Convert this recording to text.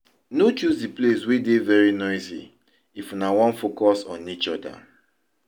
No choose di place wey dey very noisy if una wan focus on each oda